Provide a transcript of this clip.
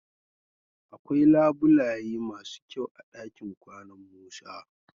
Akwai labulaye masu kyau a dakin kwanan Musa.